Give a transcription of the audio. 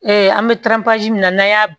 an bɛ min na n'an y'a